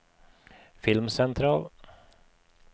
filmsentral